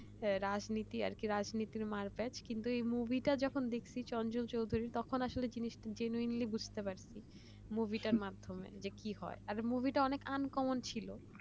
হ্যাঁ রাজনীতি আর কি রাজনীতির মার্কেট কিন্তু মুভিটা যখন দেখছি চঞ্চল চৌধুরীর তখন কিন্তু জিনিস genuinely বুঝতে পারছি মুভিটার মাধ্যমে যে কি হয় মুভিটা অনেক uncommon ছিল